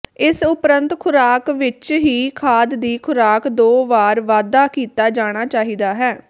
ਇਸ ਉਪਰੰਤ ਖ਼ੁਰਾਕ ਵਿੱਚ ਹੀ ਖਾਦ ਦੀ ਖੁਰਾਕ ਦੋ ਵਾਰ ਵਾਧਾ ਕੀਤਾ ਜਾਣਾ ਚਾਹੀਦਾ ਹੈ